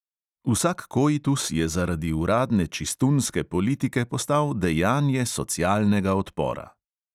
Vsak koitus je zaradi uradne čistunske politike postal dejanje socialnega odpora.